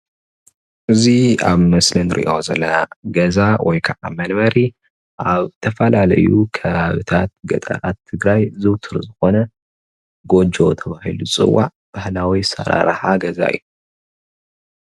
እዚ ኣብ ምስሊ ንሪኦ ዘለና ገዛ ወይከዓ መንበሪ ኣብ ዝተፈላለዩ ከባብታት ገጠራት ትግራይ ዝውቱር ዝኾነ ጎጆ ተባሂሉ ዝጽዋዕ ባህላዊ ኣሰራርሓ ገዛ እዩ ።